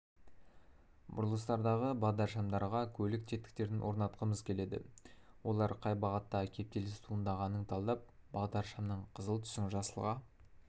бұрылыстардағы бағдаршамдарға көлік тетіктерін орнатқымыз келеді олар қай бағытта кептеліс туындағанын талдап бағдаршамның қызыл түсін жасылға